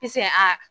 Pisan a